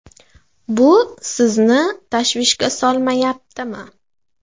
Bu sizni tashvishga solmayaptimi?